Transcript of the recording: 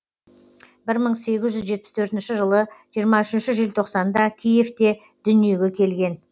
бір мың сегіз жүз жетпіс төртінші жылы жиырма үшінші желтоқсанда киевте дүниеге келген